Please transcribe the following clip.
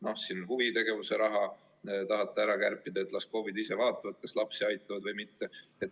Näiteks, huvitegevuse raha te tahate ära kärpida, et las KOV-id ise vaatavad, kas nad lapsi aitavad või mitte.